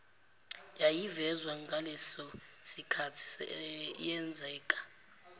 yayivezwa ngalesosikhathi yenzeka